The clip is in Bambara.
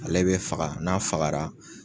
Ale bɛ faga n'a fagara,